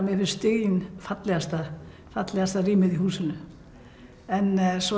mér finnst stiginn fallegasta fallegasta rýmið í húsinu en svo